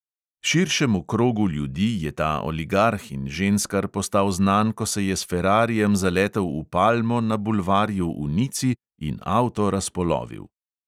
Širšemu krogu ljudi je ta oligarh in ženskar postal znan, ko se je s ferrarijem zaletel v palmo na bulvarju v nici in avto razpolovil.